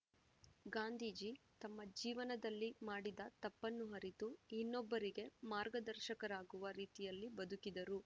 ಗಾಂಧೀಜಿ ತಮ್ಮ ಜೀವನದಲ್ಲಿ ಮಾಡಿದ ತಪ್ಪನ್ನು ಅರಿತು ಇನ್ನೊಬ್ಬರಿಗೆ ಮಾರ್ಗದರ್ಶಕರಾಗುವ ರೀತಿಯಲ್ಲಿ ಬದುಕಿದರು